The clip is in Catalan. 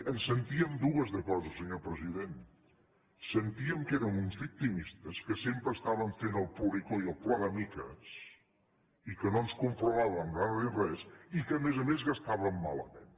en sentíem dues de coses senyor president sentíem que érem uns victimistes que sempre estàvem fent el ploricó i el ploramiques i que no ens conformàvem mai amb res i que a més a més gastàvem malament